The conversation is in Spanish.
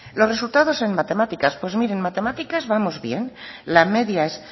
los resultado en matemáticas pues mire en matemáticas vamos bien la media es